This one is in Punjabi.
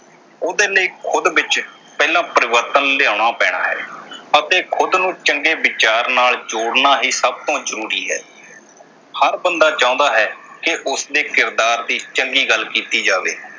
ਉਹਦੇ ਲਈ ਖੁਦ ਵਿਚ ਪਹਿਲਾਂ ਪਰਿਵਰਤਨ ਲਿਆਉਣਾ ਪੈਣਾ ਹੈ ਅਤੇ ਖੁਦ ਨੂੰ ਚੰਗੇ ਵਿਚਾਰ ਨਾਲ ਜੋੜਨਾ ਹੀ ਸਭ ਤੋਂ ਜਰੂਰੀ ਹੈ। ਹਰ ਬੰਦਾ ਚਾਹੁੰਦਾ ਹੈ ਕਿ ਉਸਦੇ ਕਿਰਦਾਰ ਦੀ ਚੰਗੀ ਗੱਲ ਕੀਤੀ ਜਾਵੇ।